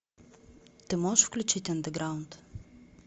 ты можешь включить андеграунд